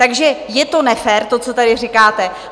Takže je to nefér, to, co tady říkáte.